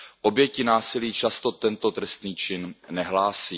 Oběti násilí často tento trestný čin nehlásí.